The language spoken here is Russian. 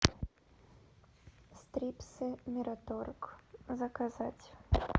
стрипсы мираторг заказать